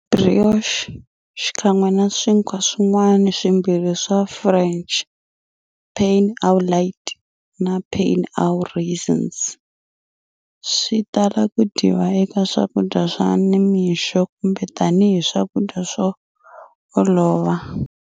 Brioche, xikan'we na swinkwa swin'wana swimbirhi swa French,"pain au lait" na"pain aux raisins," switala ku dyiwa eka swakudya swa nimixo kumbe tani hi swakudya swo olova.